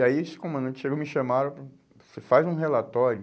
E aí esse comandante chegou, me chamaram, faz um relatório,